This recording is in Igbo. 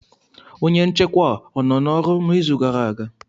Onye nchekwa o nọ n'ọrụ n'izu gara aga?